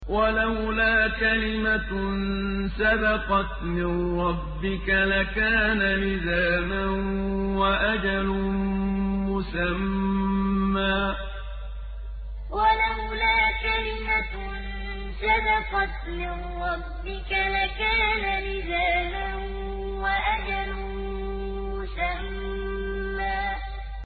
وَلَوْلَا كَلِمَةٌ سَبَقَتْ مِن رَّبِّكَ لَكَانَ لِزَامًا وَأَجَلٌ مُّسَمًّى وَلَوْلَا كَلِمَةٌ سَبَقَتْ مِن رَّبِّكَ لَكَانَ لِزَامًا وَأَجَلٌ مُّسَمًّى